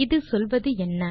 இது சொல்வது என்ன